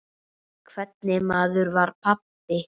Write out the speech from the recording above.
Hvernig maður var pabbi?